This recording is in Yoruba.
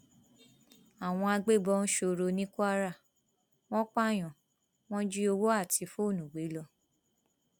àwọn agbébọn sọrọ ní kwara wọn pààyàn wọn jí owó àti fóònù gbé lọ